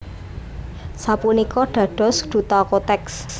Sapunika dados duta Kotex